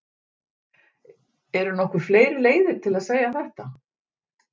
Eru nokkuð fleiri leiðir til að segja þetta?